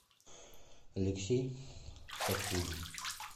алексей сафулин